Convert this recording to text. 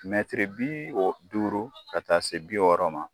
bi duuru ka taa se bi wɔɔrɔ ma